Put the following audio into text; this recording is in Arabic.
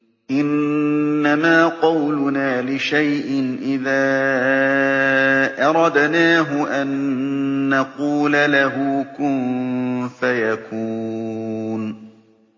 إِنَّمَا قَوْلُنَا لِشَيْءٍ إِذَا أَرَدْنَاهُ أَن نَّقُولَ لَهُ كُن فَيَكُونُ